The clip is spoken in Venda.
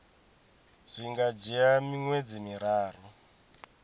zwi nga dzhia miṅwedzi miraru